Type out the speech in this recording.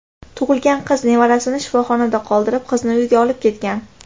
tug‘ilgan qiz nevarasini shifoxonada qoldirib, qizini uyiga olib ketgan.